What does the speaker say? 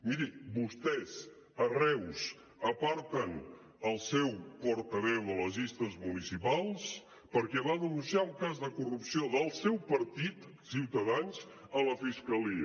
miri vostès a reus aparten el seu portaveu de les llistes municipals perquè va denunciar un cas de corrupció del seu partit ciutadans a la fiscalia